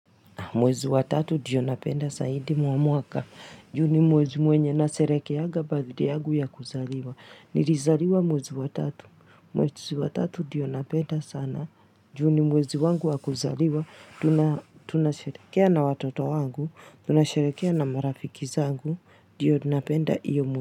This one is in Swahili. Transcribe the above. Mwezi wa tatu ndio napenda zaidi mwa mwaka. Juu ni mwezi mwenye nasherehekeanga birthday yangu ya kuzaliwa. Nilizaliwa mwezi wa tatu. Mwezi wa tatu ndiyo napenda sana. Juu ni mwezi wangu wa kuzaliwa. Tunasherehekea na watoto wangu. Tunasherehekea na marafiki zangu. Ndio napenda hiyo mwezi.